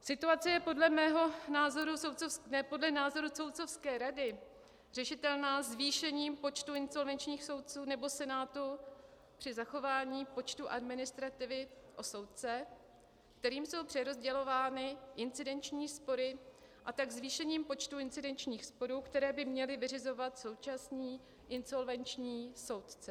Situace je podle názoru soudcovské rady řešitelná zvýšením počtu insolvenčních soudců nebo senátu při zachování počtu administrativy o soudce, kterým jsou přerozdělovány incidenční spory, a tak zvýšením počtu incidenčních sporů, které by měli vyřizovat současní insolvenční soudci.